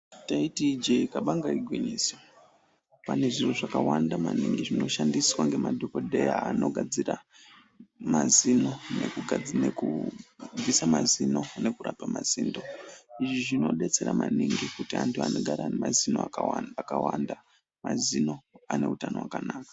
Taiti ijee kabanga igwinyiso pane zviro zvakawanda maningi zvinoshandiswa ngemadhokodheya anogadzira mazino nekubvisa mazino nekurapa mazino izvi zvinodetsera maningi kuti anhu anogara nemazino akawanda ,mazino ane utano hwakanaka.